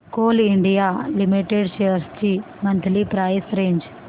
Coal India Limited shares ची monthly price range